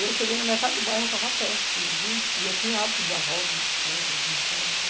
Eu cheguei na metade do bairro, eu estava a pé aquele dia, e eu tinha hábito de dar a volta no bicicleta, ver como estava.